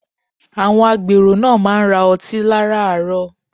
Àwọn agbèrò náà má wá ń ra ọtí láràárọ̀